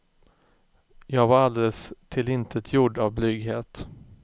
Jag var alldeles tillintetgjord av blyghet.